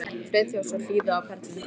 Friðþjófs og hlýða á perlurnar falla.